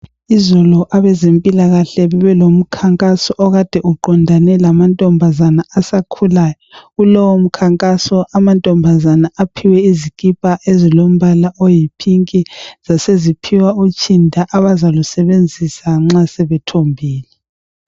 Izolo abezempilakahle bebelomkhankaso okade uqondane lamankazana asakhulayo kulowomkhankaso amantombazane aphiwe izikipa ezilombala oyi pinki zaseziphiwa utshinda abazalusebenzisa nxa sebethombile.